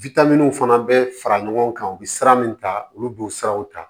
fana bɛ fara ɲɔgɔn kan u bɛ sira min ta olu b'o siraw ta